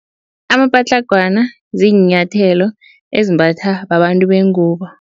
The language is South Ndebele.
Amapatlagwana ziinyathelo ezimbatha babantu bengubo.